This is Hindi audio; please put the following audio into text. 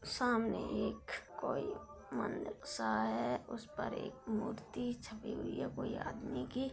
सामने एक कोई सा है उस पर एक मूर्ति छपी हुई है कोई आदमी की।